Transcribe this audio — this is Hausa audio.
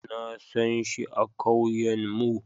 Na sanshi a kauyen mu.